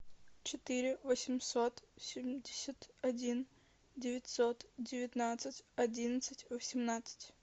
четыре восемьсот семьдесят один девятьсот девятнадцать одиннадцать восемнадцать